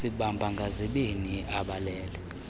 sibamba ngazibini abalele